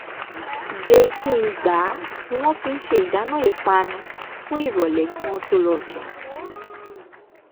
gbe-kí n-gbà ni wọ́n fi ṣe ìdáná ìpanu fún ìròlẹ́ kí wọ́n tó lọ sùn